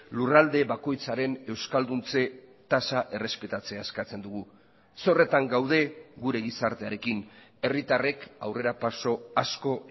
lurralde bakoitzaren euskalduntze tasa errespetatzea eskatzen dugu zorretan gaude gure gizartearekin herritarrek aurrerapauso asko